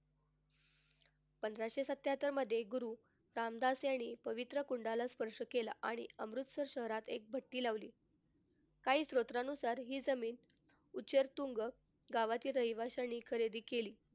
पंधराशे सत्त्याहत्तर मधे गुरु रामदास यांनी पवित्र कुंडाला स्पर्श केला आणि अमृतसर शहरात एक भट्टी लावली. काही सूत्रांनुसार हि जमीन तुंग गावाच्या रहिवाशांनी खरेदी केली.